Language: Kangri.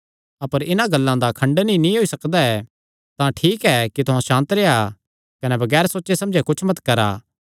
अपर इन्हां गल्लां दा खण्डन ई नीं होई सकदा तां ठीक एह़ ऐ कि तुहां सांत रेह्आ कने बगैर सोचे समझे कुच्छ मत करा